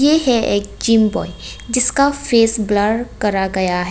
ये है एक जिम ब्वॉय जिसका फेस ब्लर करा गया है।